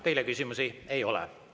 Teile küsimusi ei ole.